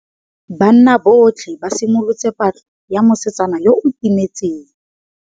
Banna botlhê ba simolotse patlô ya mosetsana yo o timetseng.